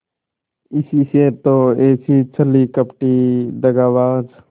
इसी से तो ऐसी छली कपटी दगाबाज